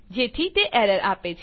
જેથી તે એરર આપે છે